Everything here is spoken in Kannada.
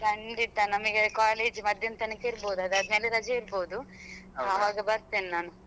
ಖಂಡಿತ ನಮಗೆ college ಮಧ್ಯಾಹ್ನ ತನಕ ಇರ್ಬೋದು ಅದಾದ್ಮೇಲೆ ರಜೆ ಇರ್ಬೋದು ಅವಾಗ ಬರ್ತೇನೆ ನಾನು.